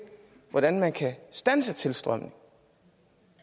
hvordan man kan standse tilstrømningen